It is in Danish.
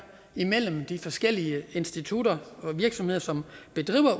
imellem de forskellige institutter og virksomheder som